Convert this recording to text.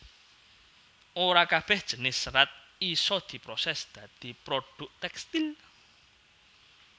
Ora kabèh jinis serat isa diprosès dadi produk tèkstil